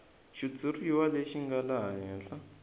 xitshuriwa lexi nga laha henhla